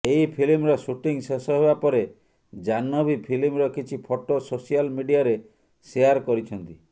ଏହି ଫିଲ୍ମର ସୁଟିଂ ଶେଷ ହେବା ପରେ ଜାହ୍ନବୀ ଫିଲ୍ମର କିଛି ଫଟୋ ସୋସିଆଲ ମିଡିଆରେ ସେୟାର କରିଛନ୍ତି